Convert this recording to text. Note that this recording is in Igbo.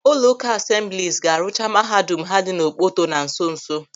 Ụlọụka Asemblis ga-arụcha mahadum ha dị n'Okpoto na nso nso.